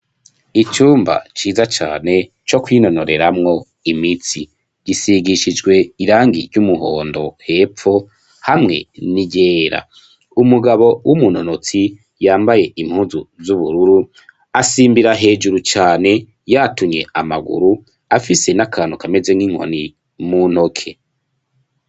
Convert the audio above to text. Icumba ciza cane co kwinonoreramwo imitsi gisigishijwe irangi ry'umuhondo wepfo hamwe ni ryera umugabo w'umunonotsi yambaye impuzu z'ubururu asimbira hejuru cane yatumye amaguru afise n'akantu kameze nk'inkonie muntoke.